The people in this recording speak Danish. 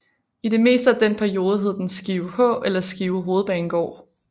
I det meste af den periode hed den Skive H eller Skive Hovedbanegård